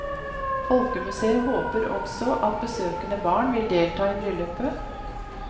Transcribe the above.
Folkemuseet håper også at besøkende barn vil delta i bryllupet.